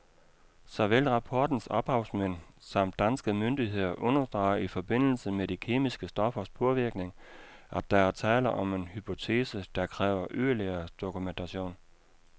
Såvel rapportens ophavsmænd samt danske myndigheder understreger i forbindelse med de kemiske stoffers påvirkning, at der er tale om en hypotese, der kræver yderligere dokumentation.